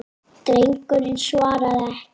Drengurinn svaraði ekki.